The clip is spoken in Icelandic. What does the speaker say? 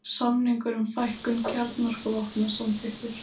Samningur um fækkun kjarnorkuvopna samþykktur